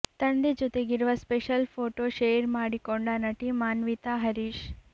ತಂದೆ ಜೊತೆಗಿರುವ special photo share ಮಾಡಿಕೊಂಡ ನಟಿ ಮಾನ್ವಿತಾ ಹರೀಶ್